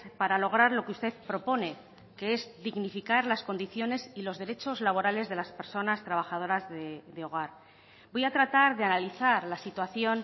para lograr lo que usted propone que es dignificar las condiciones y los derechos laborales de las personas trabajadoras de hogar voy a tratar de analizar la situación